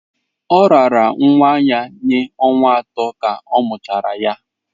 Ọ raara nwa ya nye ọnwa atọ ka a mụchara ya.